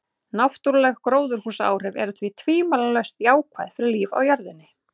Náttúruleg gróðurhúsaáhrif eru því tvímælalaust jákvæð fyrir líf á jörðinni.